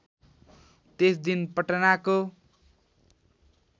त्यस दिन पटनाको